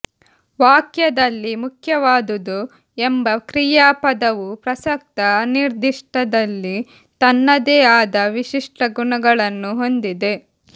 ವಾಕ್ಯದಲ್ಲಿ ಮುಖ್ಯವಾದುದು ಎಂಬ ಕ್ರಿಯಾಪದವು ಪ್ರಸಕ್ತ ಅನಿರ್ದಿಷ್ಟದಲ್ಲಿ ತನ್ನದೇ ಆದ ವಿಶಿಷ್ಟ ಗುಣಗಳನ್ನು ಹೊಂದಿದೆ